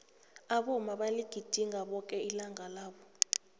abomma baligidinga bonke ilanga labo